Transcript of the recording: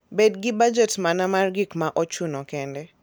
Bed gi bajet mana mar gik ma ochuno kende.